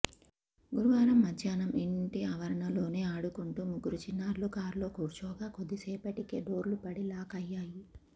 గురువారం మధ్యాహ్నం ఇంటి ఆవరణలోనే ఆడుకుంటూ ముగ్గురు చిన్నారులు కారులో కూర్చోగా కొద్దిసేపటికే డోర్లు పడి లాక్ అయ్యాయి